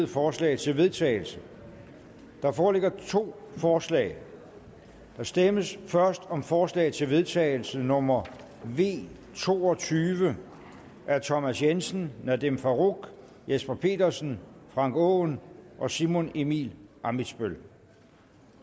forslag til vedtagelse der foreligger to forslag der stemmes først om forslag til vedtagelse nummer v to og tyve af thomas jensen nadeem farooq jesper petersen frank aaen og simon emil ammitzbøll